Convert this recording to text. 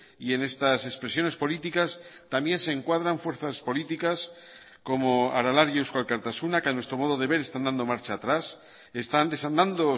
y en estas expresiones políticas también se encuadran fuerzas políticas como aralar y eusko alkartasuna que a nuestro modo de ver están dando marcha atrás están desandando